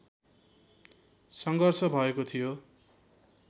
सङ्घर्ष भएको थियो